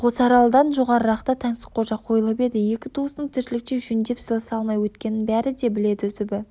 қосаралдан жоғарырақта таңсыққожа қойылып еді екі туыстың тіршілікте жөндеп сыйласа алмай өткенін бәрі де біледі түбі